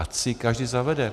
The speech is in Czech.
Ať si ji každý zavede.